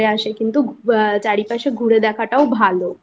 চলে আসে কিন্তু আ চারপাশে ঘুরে দেখাটাও ভালো